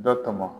Dɔ tɔmɔ